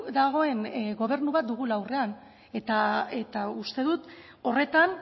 dagoen gobernu bat dugula aurrean eta uste dut horretan